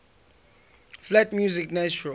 flat music natural